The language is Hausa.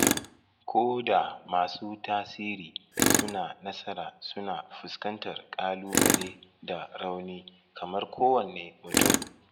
Ko da masu tasiri suna nasara suna fuskantar ƙalubale da rauni kamar kowanne mutum